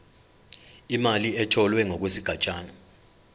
imali etholwe ngokwesigatshana